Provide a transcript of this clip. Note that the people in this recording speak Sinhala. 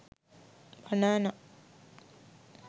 banana